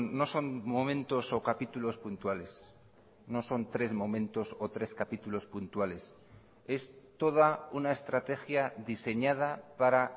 no son momentos o capítulos puntuales no son tres momentos o tres capítulos puntuales es toda una estrategia diseñada para